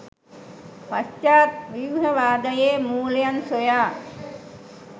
පශ්චාත් ව්‍යූහවාදයේ මූලයන් සොයා